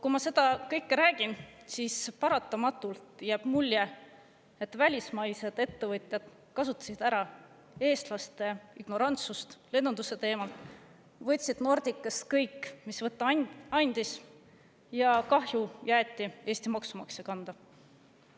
Kui ma seda kõike räägin, siis paratamatult jääb mulje, et välismaised ettevõtjad kasutasid ära eestlaste ignorantsust lennunduse teemal, võtsid Nordicast kõik, mis võtta andis, ja kahju jäeti Eesti maksumaksja kanda.